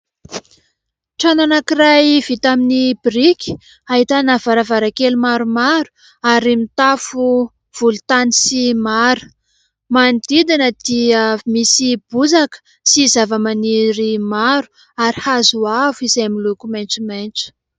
Trano anankiray vita amin'ny biriky ahitana varavarankely maromaro ary mitafo volontany sy mara. Manodidina dia misy bozaka sy zava-maniry maro ary hazo avo izay miloko maitsomaitso.